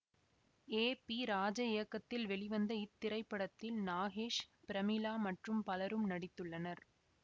ஏ P Raja இயக்கத்தில் வெளிவந்த இத்திரைப்படத்தில் நாகேஷ் பிரமிளா மற்றும் பலரும் நடித்துள்ளனர்